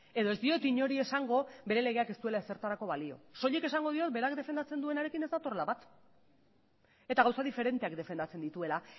edo ez diot inori esango bere legeak ez duela ezertarako balio soilik esango diot berak defendatzen duenarekin ez datorrela bat eta gauza diferenteak defendatzen dituela